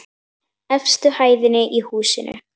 Efstu hæðinni í húsinu.